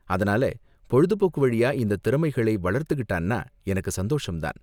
அதனால பொழுதுபோக்கு வழியா இந்த திறமைகளை வளர்த்துகிட்டான்னா எனக்கு சந்தோஷம் தான்.